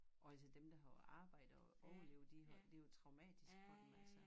Og altså dem der var på arbejde og overlevede de har det jo traumatisk for dem altså